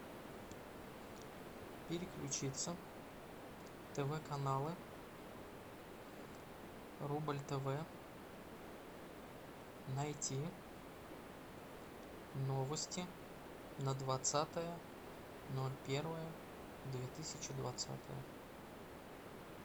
переключиться тв каналы рубль тв найти новости на двадцатое ноль первое две тысячи двадцатое